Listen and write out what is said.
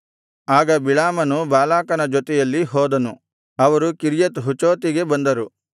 ಆಗ ಬಿಳಾಮನು ಬಾಲಾಕನ ಜೊತೆಯಲ್ಲಿ ಹೋದನು ಅವರು ಕಿರ್ಯತ್ ಹುಚೋತಿಗೆ ಬಂದರು